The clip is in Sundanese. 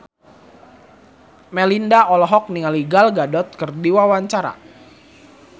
Melinda olohok ningali Gal Gadot keur diwawancara